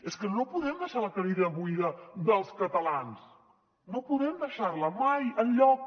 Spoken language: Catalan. és que no podem deixar la cadira buida dels catalans no podem deixar la mai enlloc